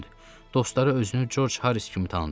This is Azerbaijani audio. Dostları özünü Corc Haris kimi tanıdıb.